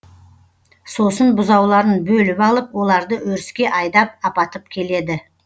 сосын бұзауларын бөліп алып оларды өріске айдап апатып келеді